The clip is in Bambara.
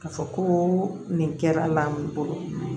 K'a fɔ ko nin kɛra la min bolo